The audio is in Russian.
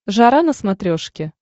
жара на смотрешке